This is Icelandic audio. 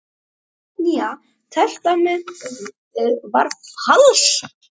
Ari tók ekki undir kveðjuna.